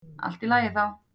Allt í lagi þá.